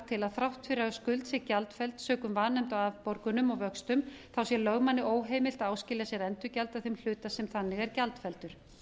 til að þrátt fyrir að skuld sé gjaldfelld sökum vanefnda á afborgunum og vöxtum sé lögmanni óheimilt að áskilja sér endurgjald þeim hluta sem þannig er gjaldfelldur